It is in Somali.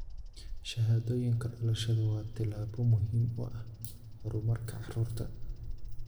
Shahaadooyinka dhalashadu waa tallaabo muhiim u ah horumarka carruurta.